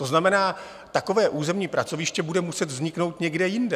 To znamená, takové územní pracoviště bude muset vzniknout někde jinde.